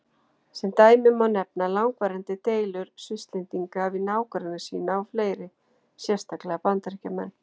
Sem dæmi má nefna langvarandi deilur Svisslendinga við nágranna sína og fleiri, sérstaklega Bandaríkjamenn.